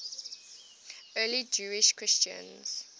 early jewish christians